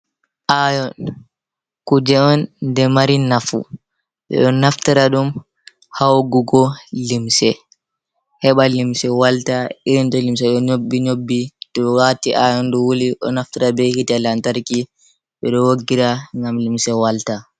Ayon kuje on nde mari nafu, ɓe ɗo naftira ɗum ha woggugo limse heɓa limse walta irin to limse ɗo nyobbi to waɗi ayon ɗo wouli ɗo naftira be hite lantarki, ɓe ɗo woggira ngam limse walta.